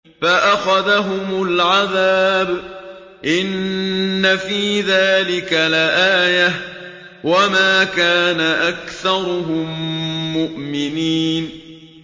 فَأَخَذَهُمُ الْعَذَابُ ۗ إِنَّ فِي ذَٰلِكَ لَآيَةً ۖ وَمَا كَانَ أَكْثَرُهُم مُّؤْمِنِينَ